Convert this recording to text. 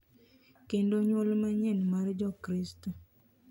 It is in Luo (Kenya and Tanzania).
Kendo nyuol manyien mar jokristo